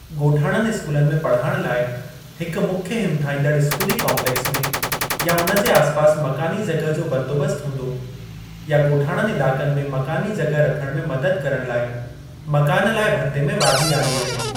ॻोठाणनि स्कूलनि में पढ़ाइण लाइ हिक मुख्य हिमथाईंदड़ स्कूली काम्पलेक्स में या उन जे आसपास मकानी जगह जो बंदोबस्त हूंदो या ॻोठाणनि इलाक़नि में मकानी जगह रखण में मदद करण लाइ मकान लाइ भत्ते में वाधी आंदी वेंदी।